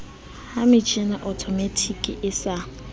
metjhini ya othomatiki e sa